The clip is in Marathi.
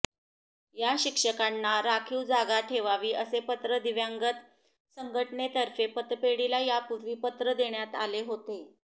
या शिक्षकांना राखीव जागा ठेवावी असे पत्र दिव्यांगत संघटनेतर्फे पतपेढीला यापुर्वी पत्र देण्यात आले होते